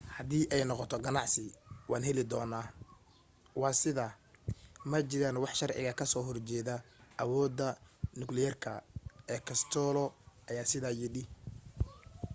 "haddii ay noqoto ganacsi waan heli doonaa. waa sidaa ma jiraan wax sharciga kasoo hor jeeda awooda nukliyeerka ee costello aya sidaa yidhi.